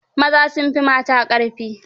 Maza sun fi mata ƙarfi.